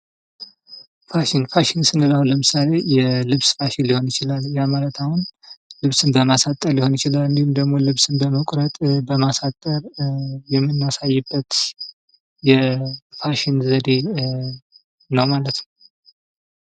ፋሽን ፦ ፋሽን ስንል አሁን ለምሳሌ የልብስ ፋሽን ሊሆን ይችላል ። ያ ማለት አሁን ልብስን በማሳጠር ሊሆን ይችላል ፣ እንዲሁም ደግሞ ልብስን በመቁረጥ ፤ በማሳጠር የምናሳይበት የፋሽን ዘዴ ነው ማለት ነው ።